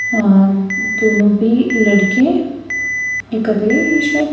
अ दोनों भी लड़के एकल्ले हैं शायद--